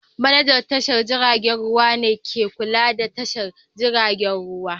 Manajan tashar jiragen ruwa ne ke kula da tashar jiragen ruwa